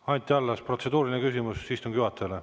Anti Allas, protseduuriline küsimus istungi juhatajale.